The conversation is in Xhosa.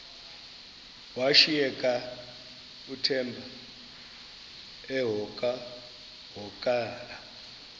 washiyeka uthemba emhokamhokana